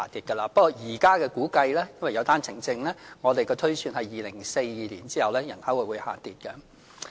不過，根據現時的估計，由於有單程證，我們的推算是人口會在2042年後下跌。